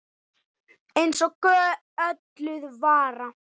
Eins og gölluð vara.